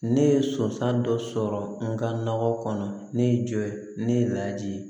Ne ye sɔnsɔn dɔ sɔrɔ n ka nɔgɔ kɔnɔ ne ye jɔ ye ne lajigi